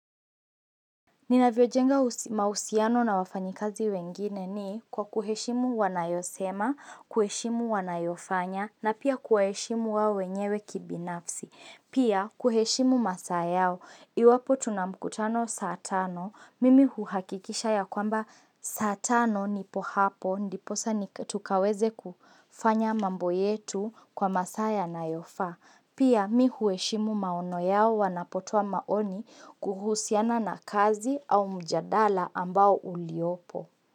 Ninavyojenga mahusiano na wafanyikazi wengine ni kwa kuheshimu wanayosema, kuheshimu wanayofanya, na pia kuwaheshimu wao wenyewe kibinafsi. Pia kuheshimu masaayao, iwapo tunamkutano saatano, mimi huhakikisha ya kwamba saatano nipo hapo, ndiposa tukaweze kufanya mambo yetu kwa maasa yana yofaa. Pia mimi huheshimu maono yao wanapotoa maoni kuhusiana na kazi au mjadala ambao uliopo.